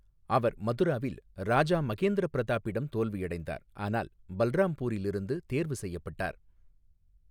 அவர் மதுராவில் ராஜா மகேந்திர பிரதாப்பிடம் தோல்வியடைந்தார், ஆனால் பல்ராம்பூரில் இருந்து தேர்வு செய்யப்பட்டார்.